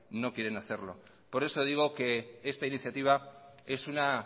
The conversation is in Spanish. no quieren hacerlo por eso digo que esta iniciativa es una